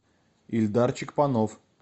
ильдарчик панов